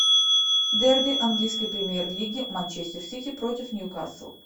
дерби английской премьер лиги манчестер сити против ньюкасл